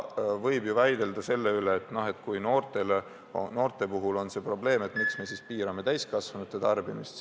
Võib ju väidelda selle üle, et kui noorte puhul on see probleem, miks me siis piirame täiskasvanute tarbimist.